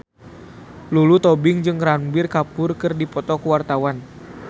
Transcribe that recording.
Lulu Tobing jeung Ranbir Kapoor keur dipoto ku wartawan